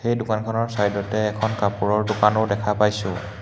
এই দোকানখনৰ ছাইডতে এখন কাপোৰৰ দোকানো দেখা পাইছোঁ।